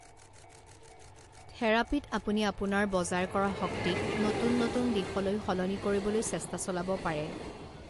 থেৰাপিত আপুনি আপোনাৰ বজাৰ কৰা শক্তিক নতুন নতুন দিশলৈ সলনি কৰিবলৈ চেষ্টা চলাব পাৰে।